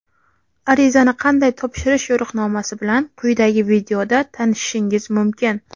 Arizani qanday topshirish yo‘riqnomasi bilan quyidagi videoda tanishishingiz mumkin.